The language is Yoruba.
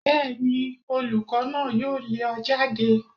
Bẹ́ẹ̀ni olùkọ́ náà yóò lé ọ jáde.